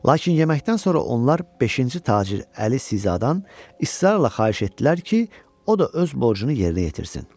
Lakin yeməkdən sonra onlar beşinci tacir Əli Sizadan israrla xahiş etdilər ki, o da öz borcunu yerinə yetirsin.